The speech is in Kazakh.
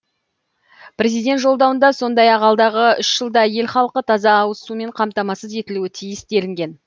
президент жолдауында сондай ақ алдағы үш жылда ел халқы таза ауыз сумен қамтамасыз етілуі тиіс делінген